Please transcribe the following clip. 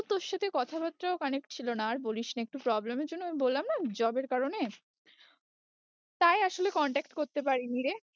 তোর সাথে কথা বার্তাও connect ছিল না, আর বলিস না একটু problem এর জন্য আমি বললাম না job এর কারণে তাই আসলে contact করতে পারি নি রে